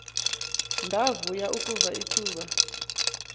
ndavuya ukuva ulcuba